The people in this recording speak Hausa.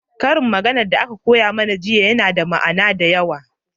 ƙarin magana da aka koya mana jiya na da ma'ana da yawa